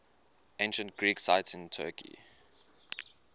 ancient greek sites in turkey